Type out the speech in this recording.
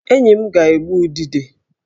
Enyi m ga-egbu udide